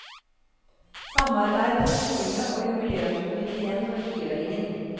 Samarbeid med skolene og jubileumskomiteen for frigjøringen.